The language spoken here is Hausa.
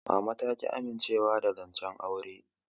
Mama ta ƙi amincewa da zancen auren.